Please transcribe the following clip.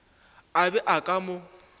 a be a ka mo